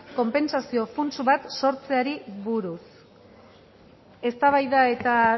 konpentsazio funts bat sortzeari buruz eztabaida eta